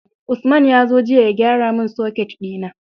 Usman yazo jiya ya gyara mun soket dina